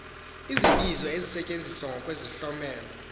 izibizo ezisetyenziswa ngokwezihlomelo